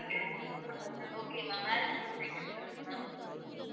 okay ma'am வேற fruits item சொல்லுங்க ma'am